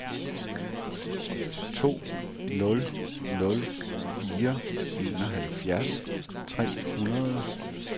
to nul nul fire enoghalvfjerds tre hundrede